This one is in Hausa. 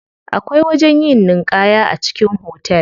Akwai wajen yin ninƙaya a cikin hotel.